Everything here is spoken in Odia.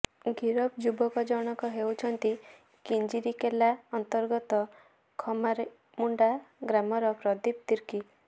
ଗିରଫ ଯୁବକ ଜଣକ ହେଉଛନ୍ତି କିଞ୍ଜିରିକେଲା ଅନ୍ତର୍ଗତ ଖମାରିମୁଣ୍ଡା ଗ୍ରାମର ପ୍ରଦୀପ ତିର୍କୀ